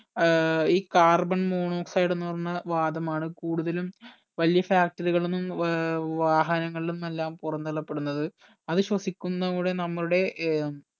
ഏർ ഈ carbon monoxide എന്ന് പറഞ്ഞ വാദമാണ് കൂടുതലും വല്യ factory കളിൽ ന്നും ഏർ വാഹനങ്ങളിൽ നിന്നെല്ലാം പൊറന്തള്ളപെടുന്നത് അത് ശ്വസിക്കുന്നോടെ നമ്മുടെ ഏർ